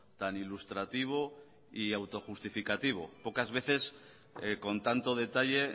tan ilustrativo y auto justificativo pocas veces con tanto detalle